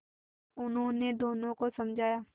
उन्होंने दोनों को समझाया